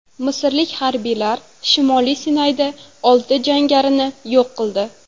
Misrlik harbiylar shimoliy Sinayda olti jangarini yo‘q qildi.